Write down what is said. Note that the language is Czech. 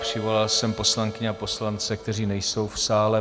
Přivolal jsem poslankyně a poslance, kteří nejsou v sále.